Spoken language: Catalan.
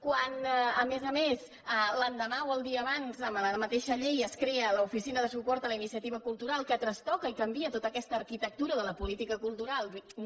quan a més a més l’endemà o el dia abans a la mateixa llei es crea l’oficina de suport a la iniciativa cultural que trastoca i canvia tota aquesta arquitectura de la política cultural via